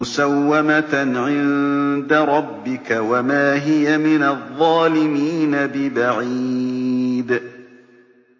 مُّسَوَّمَةً عِندَ رَبِّكَ ۖ وَمَا هِيَ مِنَ الظَّالِمِينَ بِبَعِيدٍ